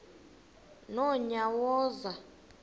nonyawoza